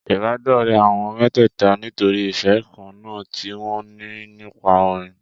Ìbádọ́rẹ̀ẹ́ àwọn mẹ́tẹ̀ẹ̀ta nítorí ìfẹ́ kan náà tí wọn ní nípa orin.